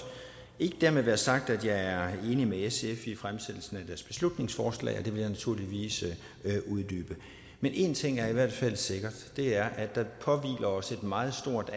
dermed ikke være sagt at jeg er enig med sf i deres fremsatte beslutningsforslag og det vil jeg naturligvis uddybe men en ting er i hvert fald sikkert og det er at der påhviler os et meget stort